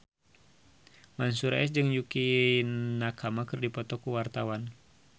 Mansyur S jeung Yukie Nakama keur dipoto ku wartawan